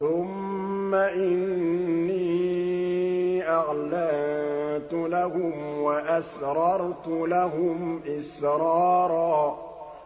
ثُمَّ إِنِّي أَعْلَنتُ لَهُمْ وَأَسْرَرْتُ لَهُمْ إِسْرَارًا